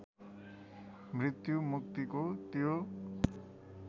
मृत्यु मुक्तिको त्यो